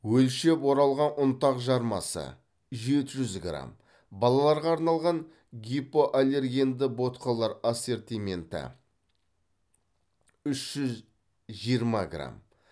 өлшеп оралған ұнтақ жармасы жеті жүз грамм балаларға арналған гипоаллергенді ботқалар ассортименті үш жүз жиырма грамм